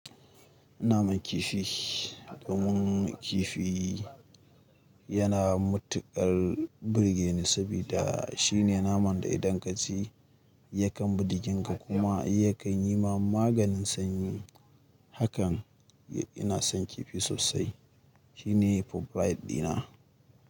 Naman kifi, mun kifi yana matuƙar birge ni saboda shine naman da idan ka ci yakan buɗe jinka kuma yakan yi ma maganin sanyi. Hakan ina son kifi sosai. Shine favorite dina.